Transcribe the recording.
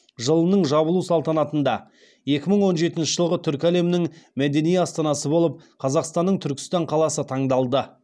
жылының жабылу салтанатында екі мың он жетінші жылғы түркі әлемінің мәдени астанасы болып қазақстанның түркістан қаласы таңдалды